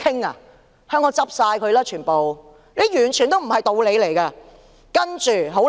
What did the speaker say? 那麼香港全部公司都會倒閉，這完全不是道理。